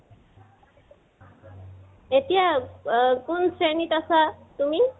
এতিয়া কোন শ্ৰেণীত আছা তুমি?